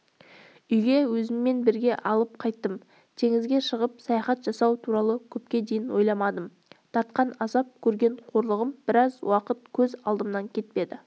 үйге өзіммен бірге алып қайттым теңізге шығып саяхат жасау туралы көпке дейін ойламадым тартқан азап көрген қорлығым біраз уақыт көз алдымнан кетпеді